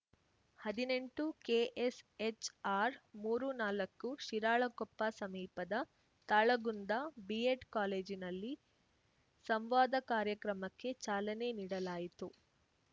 ಹದಿನೆಂಟುಕೆ S H ಆರ್‌ಮೂರುನಾಲ್ಕು ಶಿರಾಳಕೊಪ್ಪ ಸಮೀಪದ Talagunda B Ed ಕಾಲೇಜಿನಲ್ಲಿ ಸಂವಾದ ಕಾರ್ಯಕ್ರಮಕ್ಕೆ ಚಾಲನೆ ನೀಡಲಾಯಿತು